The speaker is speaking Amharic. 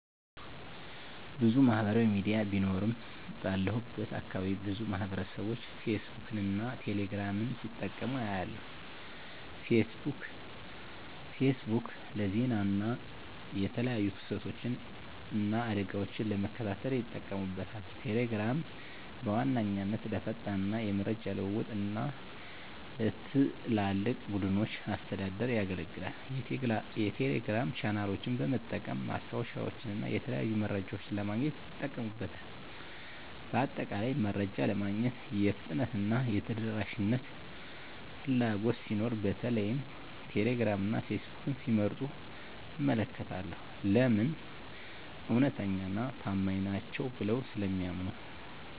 **ብዙ ማህበራዊ ሚዲያ ቢኖሩም፦ ባለሁበት አካባቢ ብዙ ማህበረሰብቦች ፌስቡክን እና ቴሌ ግራምን ሲጠቀሙ አያለሁ፤ * ፌስቡክ: ፌስቡክ ለዜና እና የተለያዩ ክስተቶችን እና አደጋወችን ለመከታተል ይጠቀሙበታል። * ቴሌግራም: ቴሌግራም በዋነኛነት ለፈጣን የመረጃ ልውውጥ እና ለትላልቅ ቡድኖች አስተዳደር ያገለግላል። የቴሌግራም ቻናሎችን በመጠቀም ማስታወቂያወችንና የተለያዩ መረጃዎችን ለማግኘት ይጠቀሙበታል። በአጠቃላይ፣ መረጃ ለማግኘት የፍጥነትና የተደራሽነት ፍላጎት ሲኖር በተለይም ቴሌግራም እና ፌስቡክን ሲመርጡ እመለከታለሁ። *ለምን? እውነተኛና ታማኝ ናቸው ብለው ስለሚያምኑ።